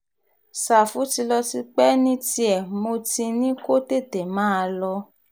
ṣàfù ti lọ tipẹ́ ní tiẹ̀ mo ti ní kó tètè máa lọ